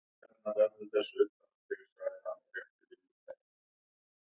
Flautað hefur verið loka fyrri hálfleiks